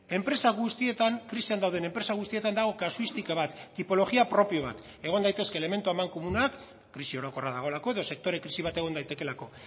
enpresa guztietan krisian dauden enpresa guztietan dago kasuistika bat tipologia propio bat egon daitezke elementu amankomunak krisi orokorra dagoelako edo sektore krisi bat egon daitekeelako